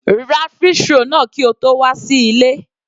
Ra fish roll náà kí o tó wà sí ilé.